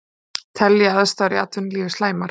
Telja aðstæður í atvinnulífi slæmar